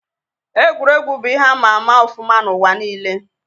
Egwuregwu bụ ihe ama ama ọfụma n'ụwa nile